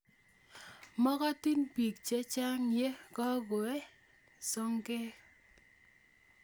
Magotin peek chechang' ye kingooe sogek